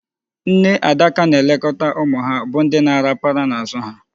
Nne adaka na-elekọta ụmụ ha, bụ ndị na-arapara n'azụ ha.